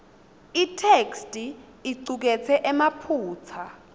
itheksthi icuketse emaphutsa